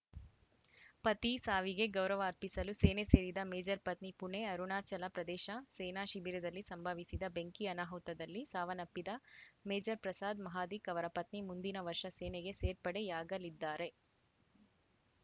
ಪತಿ ಸಾವಿಗೆ ಗೌರವ ಅರ್ಪಿಸಲು ಸೇನೆ ಸೇರಿದ ಮೇಜರ್‌ ಪತ್ನಿ ಪುಣೆ ಅರುಣಾಚಲ ಪ್ರದೇಶ ಸೇನಾ ಶಿಬಿರದಲ್ಲಿ ಸಂಭವಿಸಿದ ಬೆಂಕಿ ಅನಾಹುತದಲ್ಲಿ ಸಾವನ್ನಪ್ಪಿದ ಮೇಜರ್‌ ಪ್ರಸಾದ್‌ ಮಹಾದಿಕ್‌ ಅವರ ಪತ್ನಿ ಮುಂದಿನ ವರ್ಷ ಸೇನೆಗೆ ಸೇರ್ಪಡೆಯಾಗಲಿದ್ದಾರೆ